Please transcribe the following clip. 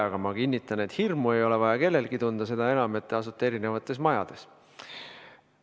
Aga ma kinnitan, et hirmu ei ole vaja kellelgi tunda, seda enam, et te asute eri majades.